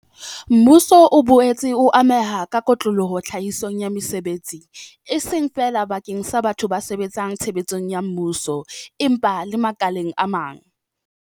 Mmuso o boetse o ameha ka kotloloho tlhahisong ya mesebetsi, e seng feela bakeng sa batho ba sebetsang tshebeletsong ya mmuso, empa le makaleng a mang.